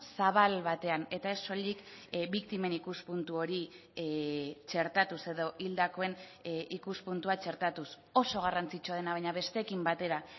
zabal batean eta ez soilik biktimen ikuspuntu hori txertatuz edo hildakoen ikuspuntua txertatuz oso garrantzitsua dena baina besteekin batera